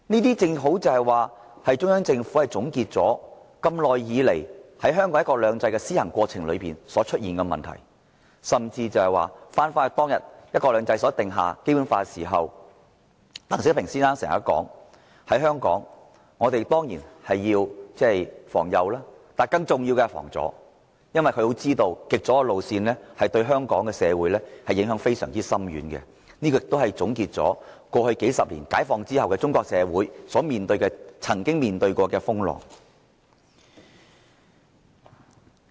這正好顯示，中央政府總結了香港在施行"一國兩制"的過程中所出現的問題，甚至重返當天提出實行"一國兩制"，制定《基本法》時，鄧小平先生說的，在香港，當然要防右，但更重要的是防左，因為他清楚知道，極左的路線會對香港社會影響非常深遠，這也總結了過去數十年解放後中國社會所曾經歷的風浪。